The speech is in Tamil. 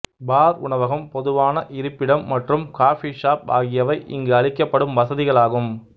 பார் உணவகம் பொதுவான இருப்பிடம் மற்றும் காஃபி ஷாப் ஆகியவை இங்கு அளிக்கப்படும் வசதிகள் ஆகும்